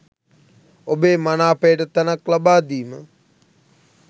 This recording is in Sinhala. ඔබේ මනාපයට තැනක් ලබාදීම.